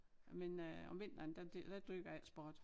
Men øh om vinteren der der dyrker jeg ikke sport